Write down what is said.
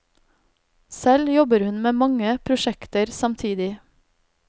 Selv jobber hun med mange prosjekter samtidig.